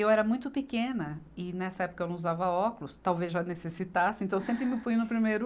Eu era muito pequena e nessa época eu não usava óculos, talvez já necessitasse, então sempre me punho no primeiro.